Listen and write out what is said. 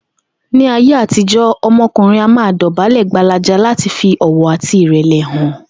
Ní ayé àtijó̩, o̩mo̩kùnrin a máa dò̩bálè̩ gbalaja láti fi ò̩wò̩ àti ìrè̩lè̩ hàn